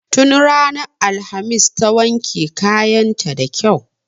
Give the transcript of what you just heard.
Tun ranar alhamis ta wanke kayan ta da kyau.